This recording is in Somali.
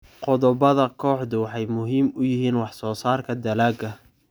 Qodobbada kooxdu waxay muhiim u yihiin wax soo saarka dalagga.